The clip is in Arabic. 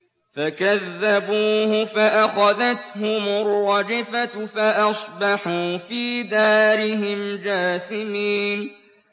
فَكَذَّبُوهُ فَأَخَذَتْهُمُ الرَّجْفَةُ فَأَصْبَحُوا فِي دَارِهِمْ جَاثِمِينَ